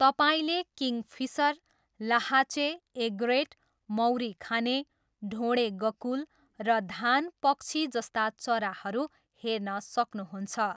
तपाईँले किङ्गफिसर, लाहाँचे, एग्रेट, मौरी खाने, ढोँडे गकुल, र धान पक्षी जस्ता चराहरू हेर्न सक्नुहुन्छ।